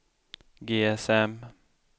GSM